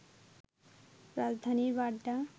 রাজধানীর বাড্ডা